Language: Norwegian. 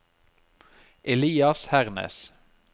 Elias Hernes